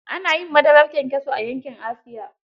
Ana yin madarar kyankyaso a yankin Asiya.